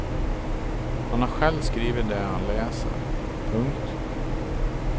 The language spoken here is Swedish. Han har själv skrivit det han läser. punkt